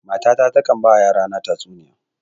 Mata ta takan ba wa yara na tatsuniya